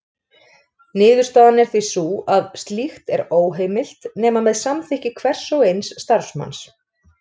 Niðurstaðan er því sú að slíkt er óheimilt nema með samþykki hvers og eins starfsmanns.